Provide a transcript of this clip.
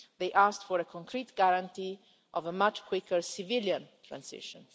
They asked for a concrete guarantee of a much quicker civilian transition.